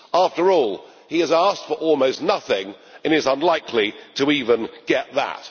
After all, he has asked for almost nothing, and he is unlikely to even get that.